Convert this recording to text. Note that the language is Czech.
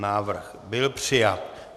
Návrh byl přijat.